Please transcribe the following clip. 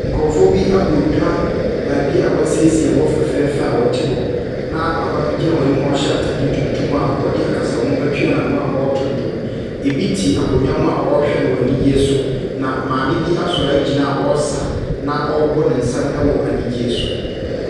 Nkrɔfo bi abɔ dwa, bɛɛbia w'esiesie hɔ fɛfɛɛfɛ a wɔti hɔ na papabi gyina wɔn enim a ɔhyɛ ataadeɛ tuntum a ɔdi akasamu etua naanu a ɔɔtu dwom. Ebi ti akonnwaa mu a, wɔɔhwɛ no anigye so na maami bi asɔre agyina a ɔɔsa na ɔɔbɔ nensɛm wɔ enigye so.